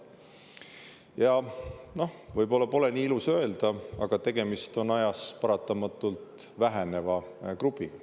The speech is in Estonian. Ja võib-olla pole ilus nii öelda, aga tegemist on ajas paratamatult väheneva grupiga.